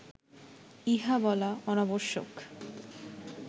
ইহা বলা অনাবশ্যক